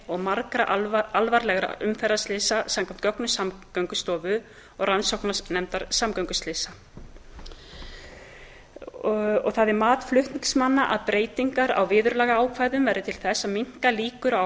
og margra alvarlegra umferðarslysa samkvæmt gögnum samgöngustofu og rannsóknarnefndar samgönguslysa það er mat flutningsmanna að breytingar á viðurlagaákvæðum verði til þess að minnka líkur á